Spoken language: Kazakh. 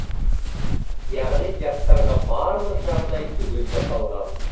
яғни жастарға барлық жағдай түгел жасалған